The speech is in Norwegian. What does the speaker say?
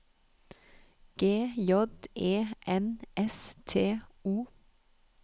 G J E N S T O